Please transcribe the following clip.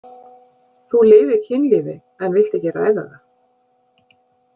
Þú lifir kynlífi en vilt ekki ræða það.